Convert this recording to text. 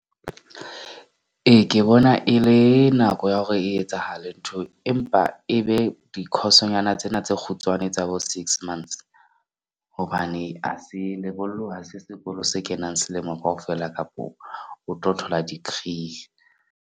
Ee, ke bona e le nako ya hore e etsahale ntho. Empa e be di-course-nyana tsena tse kgutshwane tsa bo six months. Hobane ha se lebollo ha se sekolo se kenang selemo kaofela kapo o tlo thola degree.